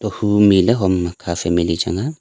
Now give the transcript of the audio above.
kaku mile hom ma ka family changa.